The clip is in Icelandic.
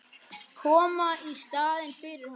Koma í staðinn fyrir hann.